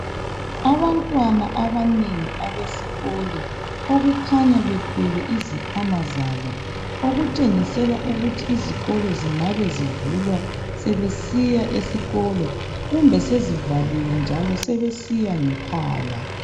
Abantwana abanengi abesikolo okukhanya bethwele izikhwama zabo okutshengisela ukuthi izikolo zingabe zivulwa sebesiya esikolo kumbe sezivaliwe njalo sebesiya ngekhaya.